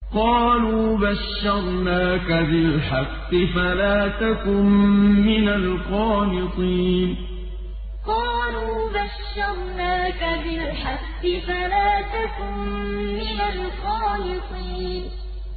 قَالُوا بَشَّرْنَاكَ بِالْحَقِّ فَلَا تَكُن مِّنَ الْقَانِطِينَ قَالُوا بَشَّرْنَاكَ بِالْحَقِّ فَلَا تَكُن مِّنَ الْقَانِطِينَ